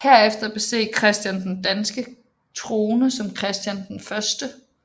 Herefter besteg Christian den danske trone som Christian 1